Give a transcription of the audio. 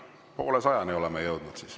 Poolesajani oleme jõudnud.